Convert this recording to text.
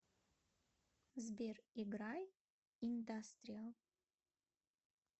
сбер играй индастриал